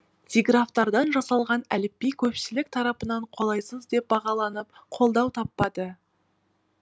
диграфтардан жасалған әліпби көпшілік тарапынан қолайсыз деп бағаланып қолдау таппады